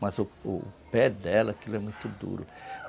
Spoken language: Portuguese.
Mas o o pé dela, aquilo é muito duro.